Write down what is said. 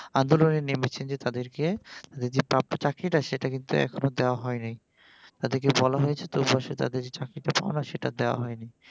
আন্দোলনে নেমেছেন যে তাদেরকে যে প্রাপ্য চাকরিটা সেইটা কিন্তু এখনো দেয়া হয় নাই তাদেরকে বলা হয়েছে যে তোমরা তো আসলে চাকরিটা পাওনা সেইটা দেয়া হয় নাই